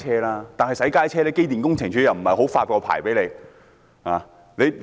但是，對於小型洗街車，機電工程署又沒有發太多牌照。